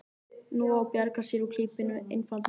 Nú á að bjarga sér úr klípunni með einfaldri skýringu.